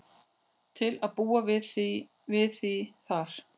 Til að búa við þig þar.